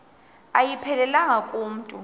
ayiphelelanga ku mntu